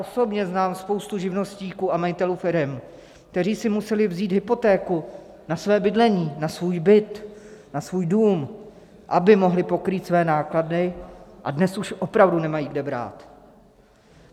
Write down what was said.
Osobně znám spoustu živnostníků a majitelů firem, kteří si museli vzít hypotéku na své bydlení, na svůj byt, na svůj dům, aby mohli pokrýt své náklady, a dnes už opravdu nemají kde brát.